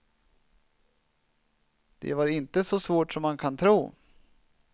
Det var inte så svårt som man kan tro.